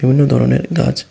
বিভিন্ন ধরনের গাছ।